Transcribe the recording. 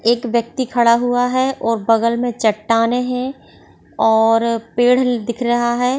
एक व्यक्ति खड़ा हुआ है और बगल मे चट्टानें हैं। और-- पेड़ दिख रहा है।